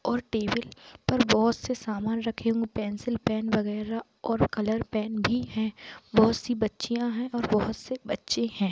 और टेबल पर बहुत से सामान रखे हुए है पेन्सिल पेन वगेरा और कलर पेन भी है बहोत सी बच्चिया है और बहोत से बच्चे है।